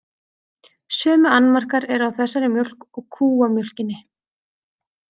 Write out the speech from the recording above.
Sömu annmarkar eru á þessari mjólk og kúamjólkinni.